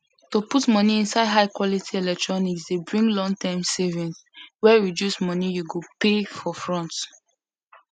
to put money inside high quality electronics dey bring longterm savings wey reduce money you go pay for front